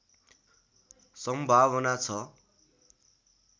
सम्भावना छ